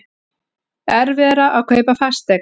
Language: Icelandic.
Erfiðara að kaupa fasteign